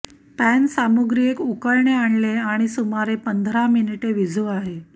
pan सामुग्री एक उकळणे आणले आणि सुमारे पंधरा मिनीटे विझू आहे